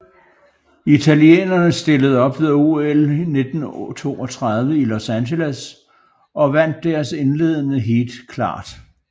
Italienerne stillede op ved OL 1932 i Los Angeles og vandt deres indledende heat klart